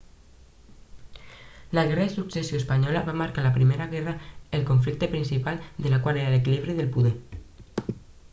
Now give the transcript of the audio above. la guerra de successió espanyola va marcar la primera guerra el conflicte principal de la qual era l'equilibri de poder